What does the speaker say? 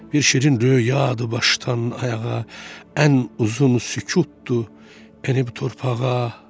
Bir şeyin röyadır başdan ayağa, ən uzun sükutdur enib torpağa.